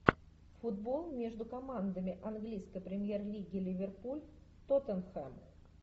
футбол между командами английской премьер лиги ливерпуль тоттенхэм